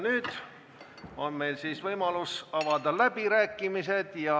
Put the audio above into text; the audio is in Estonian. Nüüd on meil võimalus avada läbirääkimised.